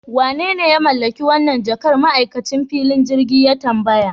Wanene ya mallaki wannan jakar? ma'aikacin filin jirgin ya tambaya